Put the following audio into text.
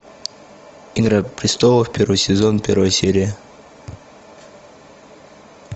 игра престолов первый сезон первая серия